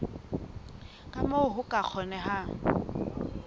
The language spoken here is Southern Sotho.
ka moo ho ka kgonehang